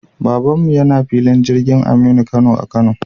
Baban mu yana filin jirgin Aminu Kano a Kano